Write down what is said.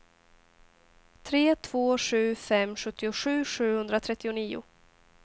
tre två sju fem sjuttiosju sjuhundratrettionio